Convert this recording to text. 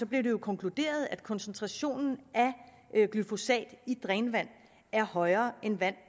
blev det jo konkluderet at koncentrationen af glyfosat i drænvand er højere end i vand